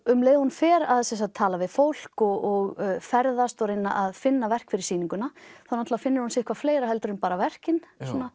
um leið og hún fer að tala við fólk og ferðast og reyna að finna verk fyrir sýninguna þá finnur hún sitthvað fleira en verkin